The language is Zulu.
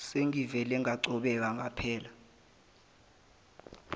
sengivele ngacobeka ngaphela